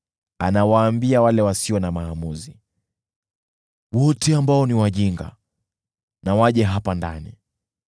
Anawaambia wale wasio na akili, “Wote ambao ni wajinga na waje hapa ndani!”